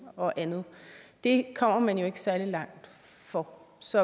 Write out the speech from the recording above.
og andet det kommer man jo ikke særlig langt for så